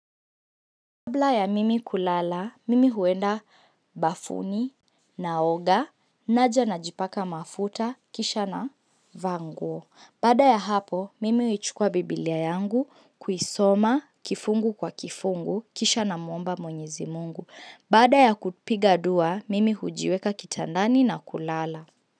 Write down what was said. Kabla ya mimi kulala, mimi huenda bafuni, naoga, naja najipaka mafuta, kisha navaa nguo. Baada ya hapo, mimi huchukua biblia yangu, kuisoma, kifungu kwa kifungu, kisha namwomba mwenyezi Mungu. Bada ya kupiga dua, mimi hujiweka kitandani na kulala.